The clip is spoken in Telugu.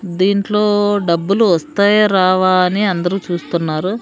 దీంట్లో డబ్బులు వస్తాయా రావా అని అందరూ చూస్తున్నారు.